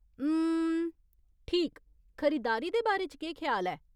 उम्म, ठीक , खरीदारी दे बारे च केह् ख्याल ऐ ?